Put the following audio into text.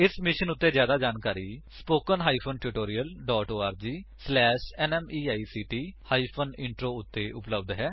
ਇਸ ਮਿਸ਼ਨ ਉੱਤੇ ਜਿਆਦਾ ਜਾਣਕਾਰੀ spoken hyphen tutorial dot org slash NMEICT hyphen intro ਉੱਤੇ ਉਪਲੱਬਧ ਹੈ